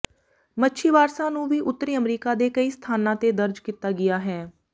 ਮੱਛੀ ਵਾਰਸਾਂ ਨੂੰ ਵੀ ਉੱਤਰੀ ਅਮਰੀਕਾ ਦੇ ਕਈ ਸਥਾਨਾਂ ਤੇ ਦਰਜ ਕੀਤਾ ਗਿਆ ਹੈ